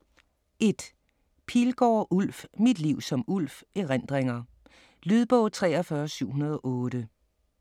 1. Pilgaard, Ulf: Mit liv som Ulf: erindringer Lydbog 43708